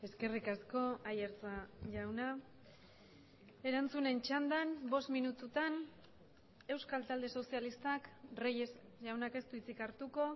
eskerrik asko aiartza jauna erantzunen txandan bost minututan euskal talde sozialistak reyes jaunak ez du hitzik hartuko